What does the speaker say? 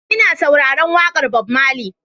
Ina sauraron waƙar Bob Marley.